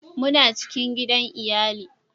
muna cikin gidan iyali